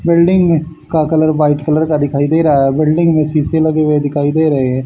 Building में का colour white colour का दिखाई दे रहा है बिल्डिंग में शीशे लगे हुए दिखाई दे रहे हैं।